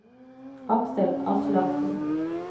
Aksel Aslaksen